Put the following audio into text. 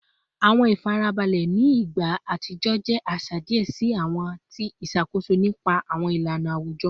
Awọn ifarabalẹ ni igba atijọ jẹ aṣa diẹ sii ati ti iṣakoso nipasẹ awọn ilana awujọ